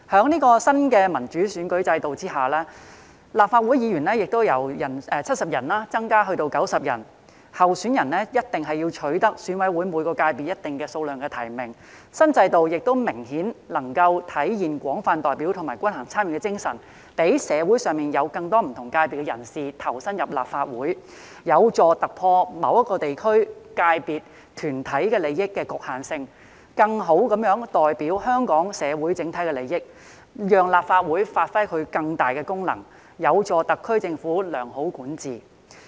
在新的民主選舉制度下，立法會議員人數由70人增至90人，候選人必須取得選委會每個界別一定數量的提名，新制度明顯更能體現廣泛代表及均衡參與的精神，讓社會上更多不同界別人士投身立法會，有助突破某個地區、界別、團體的利益局限性，更好地代表香港社會的整體利益，讓立法會發揮更大功能，有助特區政府良好管治。